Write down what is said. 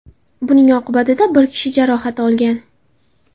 Buning oqibatida bir kishi jarohat olgan.